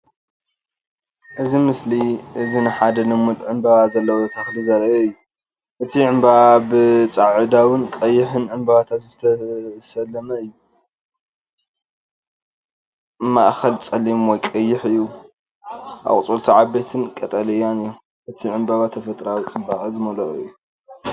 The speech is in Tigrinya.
እዚ ምስሊ እዚ ንሓደ ልሙድ ዕምባባ ዘለዎ ተኽሊ ዘርኢ እዩ። እቲ ዕምባባ ብጻዕዳውን ቀይሕን ዕምባባታት ዝተሰለመ ኮይኑ፡ ማእከል ጸሊም ወይ ቀይሕ እዩ። ኣቝጽልቱ ዓበይትን ቀጠልያን እዮም። እቲ ዕምባባ ተፈጥሮኣዊ ጽባቐ ዝመልኦ እዩ።